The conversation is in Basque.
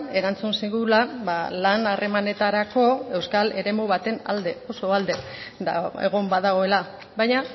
erantzun zigula lan harremanetarako euskal eremu baten alde oso alde egon badagoela baina